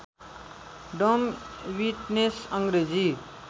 डम विट्नेस अङ्ग्रेजी